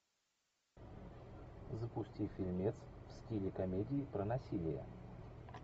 запусти фильмец в стиле комедии про насилие